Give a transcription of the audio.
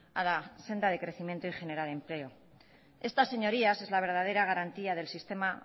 a la senda de crecimiento y generar empleo estas señorías es la verdadera garantía del sistema